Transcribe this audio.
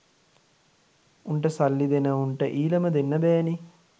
උන්ට සල්ලි දෙන උන්ට ඊලම දෙන්න බැ නේ.